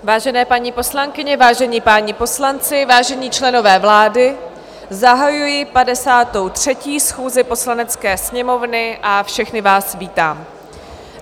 Vážené paní poslankyně, vážení páni poslanci, vážení členové vlády, zahajuji 53. schůzi Poslanecké sněmovny a všechny vás vítám.